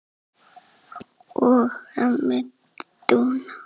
og ömmu Dúnu.